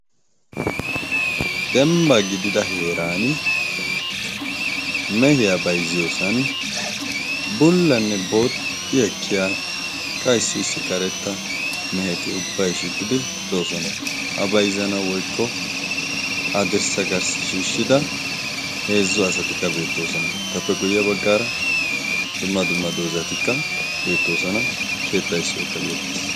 Demba gidida heeran mehiyaa bayzziyoosan bullanne booxxi ekkiya qaissiissi karetta meheti ubbai shiiqqidi doosona a bayzzana woykko adirssa garssi shiishshida heezzu asatikka beettoosana etappe guyye baggaara dumma duma dozatikka beettoosana keetta isso ikka beettees.